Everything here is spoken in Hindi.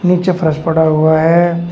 नीचे फरस पड़ा हुआ है।